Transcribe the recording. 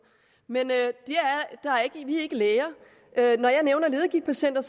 men vi er ikke læger når jeg nævner ledegigtpatienter